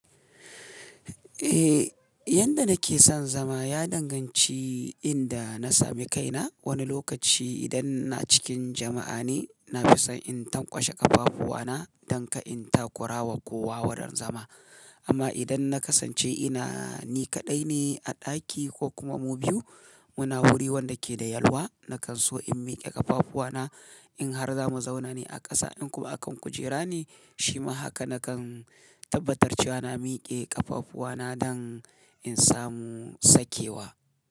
Eh, yadda nake son zama ya danganci inda na sami kaina. Wani lokaci idan ina cikin jama'a ne, na fi son in tankwashe ƙafafuwana don kar in ta kura wa kowa wurin zama. Amma idan na kasance ina ni kaɗai ne a ɗaki ko kuma mu biyu muna wurin wanda ke da yalwa, nakan so in miƙe ƙafafuwana in har za mu zauna ne a ƙasa in kuma akan kujera ne shima haka nakan tabbatar cewa na miƙe ƙafafuwana don in samu sakewa.